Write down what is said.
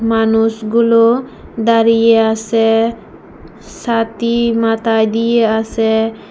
মানুষগুলো দাঁড়িয়ে আসে ছাতি মাথায় দিয়ে আসে।